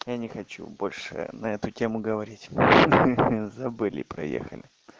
я не хочу больше на эту тему говорить хе-хе забыли проехали